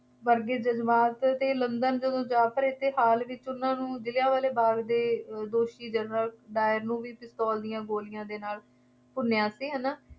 ਵਰਗੇ ਜ਼ਜ਼ਬਾਤ 'ਤੇ ਲੰਦਨ ਜਦੋਂ ਜਾ ਖੜ੍ਹੇ ਅਤੇ ਹਾਲ ਵਿੱਚ ਉਹਨਾ ਨੂੰ ਜਲ੍ਹਿਆਂ ਵਾਲੇ ਬਾਗ ਦੇ ਦੋਸ਼ੀ ਜਨਰਲ ਡਾਇਰ ਨੂੰ ਵੀ ਪਿਸਤੌਲ ਦੀਆ ਗੋਲੀਆਂ ਦੇ ਨਾਲ ਭੁੰਨਿਆ ਸੀ ਹੈ ਨਾ,